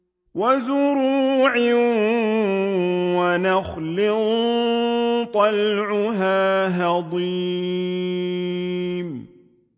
وَزُرُوعٍ وَنَخْلٍ طَلْعُهَا هَضِيمٌ